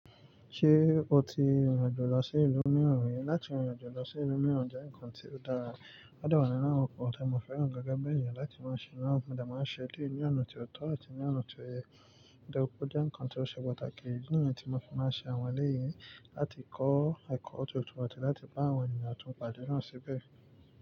Ṣé o ti rìn rìn àjò lọ sí ìlú mìíràn rí? Láti rìn rìn àjò lọ sí ìlú mìíràn jẹ́ ǹkan tí ó dára. Ó de wa ninu awọn nkan ti mo fẹràn gẹ́gẹ́ bí èèyàn láti máa ṣe, níwọn mo de máa ṣe dé ní ọ̀nà tí ó tọ́ àti ní ọ̀nà tí ó yẹ. Òde kú jẹ́ ǹkan tí ó ṣe pàtàkì idi nìyẹn tí mo fi máa ṣe àwọn ẹlẹ́yì láti kọ́ ẹ̀kọ́ tootọ̀ àti láti bá àwọn ènìyàn tún pàdé náà síbẹ̀